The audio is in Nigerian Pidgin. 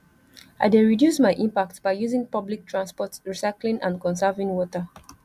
i dey reduce my impact by using public transport recycling and conserving water